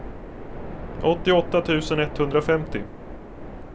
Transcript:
åttioåtta tusen etthundrafemtio